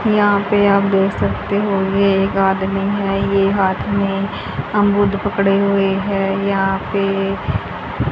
यहां पे आप देख सकते होगे एक आदमी है ये हाथ में अमरुद पकड़े हुए है यहां पर पे--